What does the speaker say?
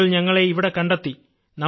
താങ്കൾ ഞങ്ങളെ അവിടെ കണ്ടെത്തി